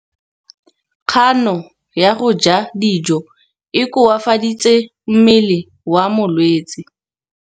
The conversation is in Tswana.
Kganô ya go ja dijo e koafaditse mmele wa molwetse.